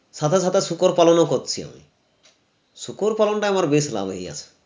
সাদা সাদা শূকর পালনও করছি শূকর পালনটা আমার বেশ লাভ ই আছে